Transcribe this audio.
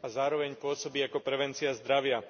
a zároveň pôsobí ako prevencia zdravia.